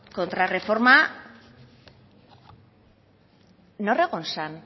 kontrarreforma nor egon zen